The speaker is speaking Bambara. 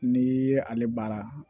N'i ye ale baara